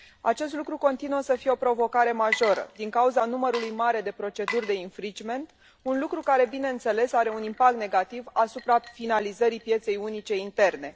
Acest lucru continuă să fie o provocare majoră din cauza numărului mare de proceduri de infringement, un lucru care, bineînțeles, are un impact negativ asupra finalizării pieței unice interne.